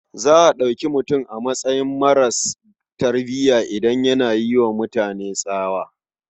Za a ɗauki mutum a matsayin maras tarbiya idan yana yi wa mutane tsawa.